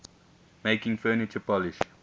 making furniture polish